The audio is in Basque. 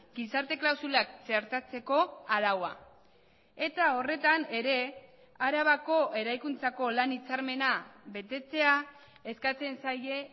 gizarte klausulak txertatzeko araua eta horretan ere arabako eraikuntzako lan hitzarmena betetzea eskatzen zaie